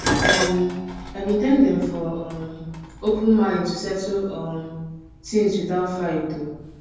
um i been thank dem for um open mind to settle um things without fight ooh